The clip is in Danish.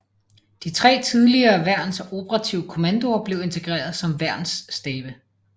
De tre tidligere værns operative kommandoer blev integreret som værnsstabe